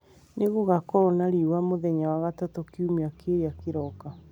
nĩ gũgaakorwo na riũa mũthenya wa gatatũ kiumia kĩrĩa kĩroka